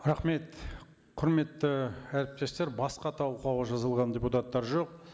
рахмет құрметті әріптестер басқа талқылауға жазылған депутаттар жоқ